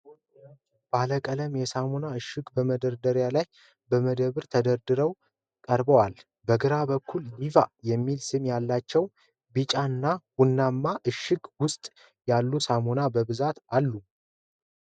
ባለቀለም የሳሙና እሽጎች በመደርደሪያዎች ላይ በደንብ ተደራርበው ቀርበዋል። በግራ በኩል፣ "Diva" የሚል ስም ያላቸው፣ በቢጫ እና ቡናማ እሽግ ውስጥ ያሉ ሳሙናዎች በብዛት አሉ።